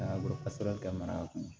ka mara kɔnɔ